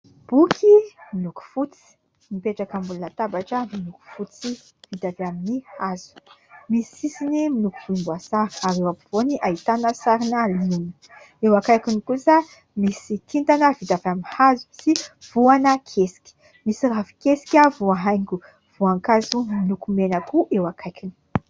Boky miloko fotsy mipetraka ambony latabatra miloko fotsy vita avy amin'ny hazo, misy sisiny miloko volomboasary ary eo ampovoany ahitana sarina liona, eo akaikiny kosa misy kintana vita avy amin'ny hazo sy voana kesika, misy ravin-kesika voahaingo voankazo miloko mena koa eo akaikiny.